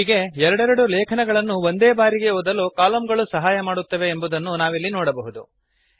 ಹೀಗೆ ಎರಡೆರಡು ಲೇಖನಗಳನ್ನು ಒಂದೇ ಬಾರಿ ಓದಲು ಕಲಮ್ ಗಳು ಸಹಾಯ ಮಾಡುತ್ತವೆ ಎಂಬುದನ್ನು ನಾವಿಲ್ಲಿ ನೋಡಬಹುದು